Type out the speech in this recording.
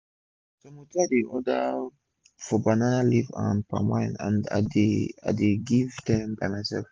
some hotel dey order for banana leaf and palm wine and i dey i dey go give dem by mysef